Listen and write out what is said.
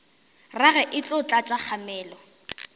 rage e tlo tlatša kgamelo